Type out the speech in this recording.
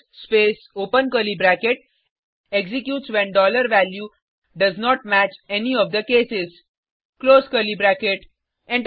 else space open curly bracket executes when dollar value does not match any of the cases close curly bracket